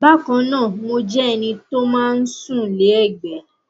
bákan náà mo jẹ ẹni tó máa ń sùn lé ẹgbé